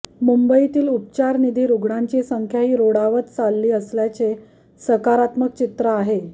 मुंबईतील उपचाराधीन रुग्णांची संख्याही रोडावत चालली असल्याचे सकारात्मक चित्र आहे